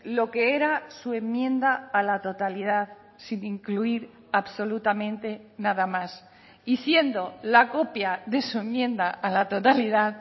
lo que era su enmienda a la totalidad sin incluir absolutamente nada más y siendo la copia de su enmienda a la totalidad